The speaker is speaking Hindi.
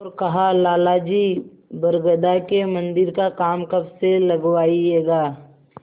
और कहालाला जी बरगदा के मन्दिर का काम कब से लगवाइएगा